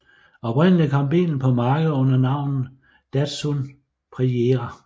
Oprindeligt kom bilen på markedet under navnet Datsun Prairie